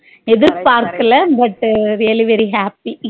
எதிர்பார்கலா but very very happy